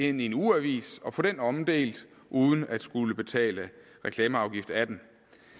ind i en ugeavis og få den omdelt uden at skulle betale reklameafgift af den